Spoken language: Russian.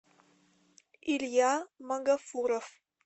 илья магафуров